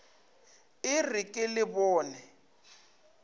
e re ke le bone